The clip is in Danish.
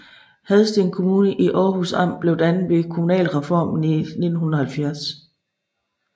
Hadsten Kommune i Århus Amt blev dannet ved kommunalreformen i 1970